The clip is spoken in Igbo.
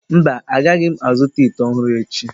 Mba, agaghị m azụta ite ọhụrụ echi.